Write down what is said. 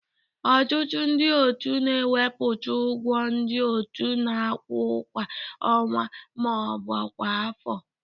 Ọtụtụ ndị otu na-ekwupụta ụgwọ ndị otu na-akwụ kwa ọnwa ma ọ bụ kwa afọ